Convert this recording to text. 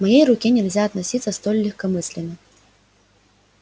к моей руке нельзя относиться столь легкомысленно